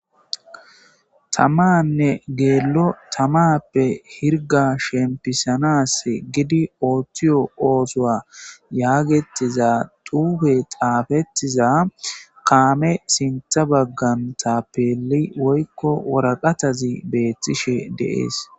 Tamane gelo tamappe hirga shempisanas gid oothiyo oothuwa yagetiza xufey xafetiza kaame sintha bagan tapeil woyko waraqataz betishe de'es.